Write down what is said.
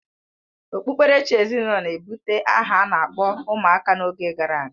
Okpukperechi ezinụlọ na-ebụte aha a na-akpọ ụmụaka n'oge gara aga